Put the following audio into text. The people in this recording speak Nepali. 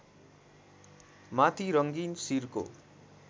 माथि रङ्गीन सिरको